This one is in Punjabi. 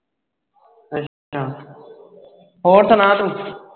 ਅੱਛਾ ਹੋਰ ਸੁਣਾ ਤੂੰ